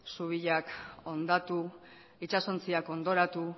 zubiak hondatu itsasontziak hondoratu